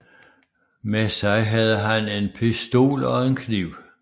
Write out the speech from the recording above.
Med sig havde han en pistol og en kniv